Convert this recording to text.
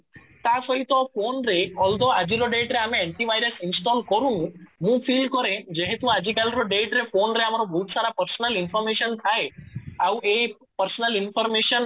ତା ସହିତ ଫୋନ ରେ although ଆଜି ର date ରେ ଆମେ ଆଣ୍ଟି ଭାଇରସ install କରୁ ମୁଁ feel କରେ ଯେହେତୁ ଆଜି କାଲିର date ରେ ଫୋନ ରେ ଆମର ବହୁତ ସାରା personal information ଥାଏ ଆଉ ଏଇ personal information